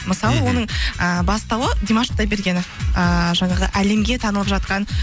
мысалы оның ы бастауы димаш құдайбергенов ыыы жаңағы әлемге танылып жатқан